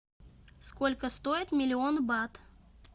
сколько стоит миллион бат